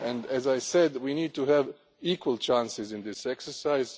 As I said, we need to have equal chances in this exercise.